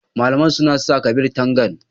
Malaman suna sa Kabir Tagang.